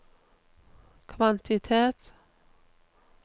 kvantitet